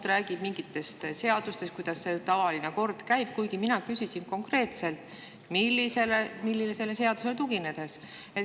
Ta räägib mingitest seadustest, kuidas tavaline kord on, kuigi mina küsisin konkreetselt, millisele seadusele tuginetakse.